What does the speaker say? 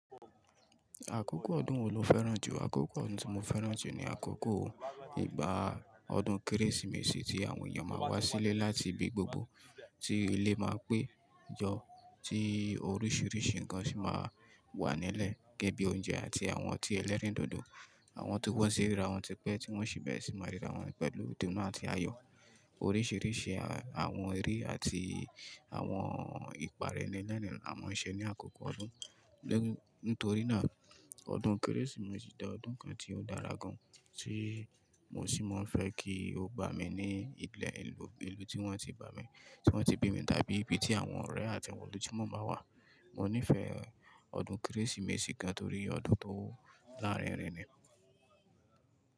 Àkókò ọdún wo lo fẹ́ràn jù? Àkókò ọdún tí mo fẹ́ràn jù ni àkókò ìgbà ọdún Kérésìmesì tí àwọn èèyàn máa wá sílé láti ibi gbogbo, tí ilé máa pé jọ, tí oríṣìíríṣìí nǹkan sì máa wà nílẹ̀ gẹ́gẹ́ bí oúnjẹ àti àwọn ọtí ẹlẹ́rìndòdò, àwọn tó wọ́n sí rírà wọ́n ti pẹ́ tí wọ́n sì bẹ̀rẹ̀ sí máa rírà wọ́n pẹ̀lú dúnu áti ayọ̀. Oríṣìíríṣìí àwọn eré àti àwọn ìpàrẹ́nì lẹ́nu àwọn òǹṣẹ̀ ní àkókò ọdún. Nítorí náà, ọdún Kérésìmesì da ọdún kan tí ó dára gan, tí mo sì máa ń fẹ́ kí ó bá mi ní ìpínlẹ̀ ìlú tí wọ́n ti bá mi, tí wọ́n ti bí mi, tàbí ibi tí àwọn ọ̀rẹ́ àti àwọn olóunjẹ́ wọn máa wà. Mo nífẹ̀ẹ́ ọdún Kérésìmesì gan torí ọdún tó lárinrin ni.